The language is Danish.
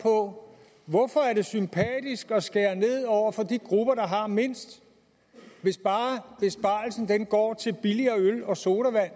på hvorfor det er sympatisk at skære ned over for de grupper der har mindst hvis bare besparelsen går til billigere øl og sodavand